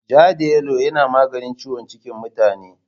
Ja da yalo yana maganin ciwon cikin mutane.